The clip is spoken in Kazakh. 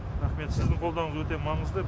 рақмет сіздің қолдауыңыз өте маңызды